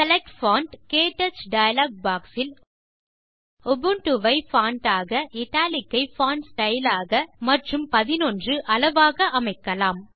select font க்டச் dialog box இல் Ubuntu ஐ பான்ட் ஆக இட்டாலிக் ஐ பான்ட் ஸ்டைல் ஆக மற்றும் 11 அளவாக அமைக்கலாம்